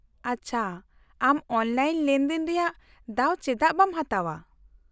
-ᱟᱪᱪᱷᱟ, ᱟᱢ ᱚᱱᱞᱟᱭᱤᱱ ᱞᱮᱱᱫᱮᱱ ᱨᱮᱭᱟᱜ ᱫᱟᱣ ᱪᱮᱫᱟᱜ ᱵᱟᱢ ᱦᱟᱛᱟᱣᱟ ?